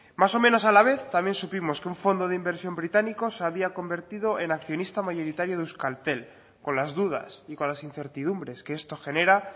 más o menos a la vez también supimos que un fondo de inversión británico se había convertido en accionista mayoritario de euskaltel con las dudas y con las incertidumbres que esto genera